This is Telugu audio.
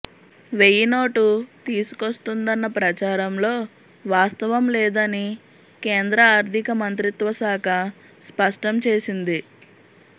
వెయ్యి నోటు తీసుకొస్తుందన్న ప్రచారంలో వాస్తవం లేదని కేంద్ర ఆర్థిక మంత్రిత్వశాఖ స్పష్టంచేసింది